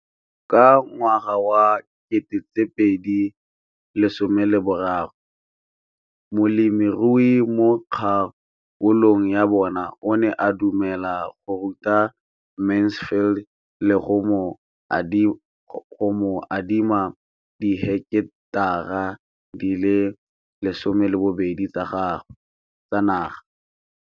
Ka ngwaga wa 2013, molemirui mo kgaolong ya bona o ne a dumela go ruta Mansfield le go mo adima di heketara di le 12 tsa naga.